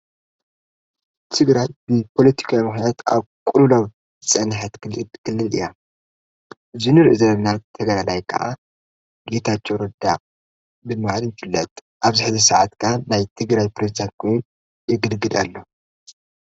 ትግራት እብ ጶሎቲካምኅነት ኣብ ቕሉናው ዝጸንሐት ክልል እያ ዝኑር እዘለብናት ተገልላይ ከዓ ጌታቸው ርዳ ብማድን ብለጥ ኣብ ዝሕዚ ሰዓትካ ናይ ትግራት ጵሬዝዳን ኴን የግድግድ ኣሎ::